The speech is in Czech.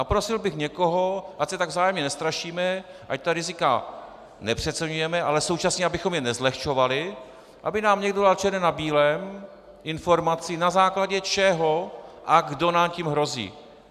A prosil bych někoho, ať se tak vzájemně nestrašíme, ať ta rizika nepřeceňujeme, ale současně abychom je nezlehčovali, aby nám někdo dal černé na bílém informaci, na základě čeho a kdo nám tím hrozí.